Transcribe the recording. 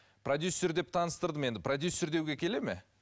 продюссер деп таныстырдым енді продюссер деуге келеді ме